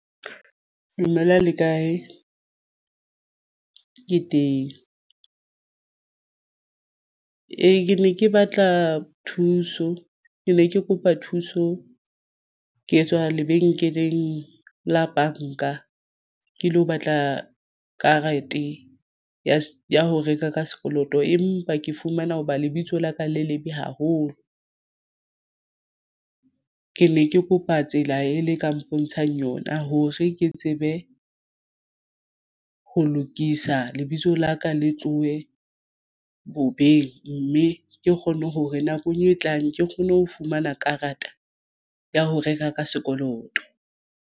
Dumela le kae ke teng? Ee, ke ne ke batla thuso ke ne ke kopa thuso. Ke tswa lebenkeleng la banka ke lo batla karete ya ho reka ka sekoloto empa ke fumana hoba lebitso la ka le lebe haholo ke ne ke kopa tsela e le ka mpontshang yona hore ke tsebe ho lokisa lebitso la ka le tlohe bobeng. Mme ke kgonne hore nakong e tlang ke kgone ho fumana karata ya ho reka ka sekoloto.